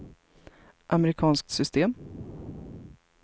amerikanskt system